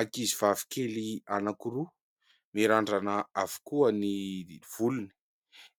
Ankizy vavy kely anakiroa, mirandrana avokoa ny volony.